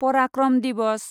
पराक्रम दिवस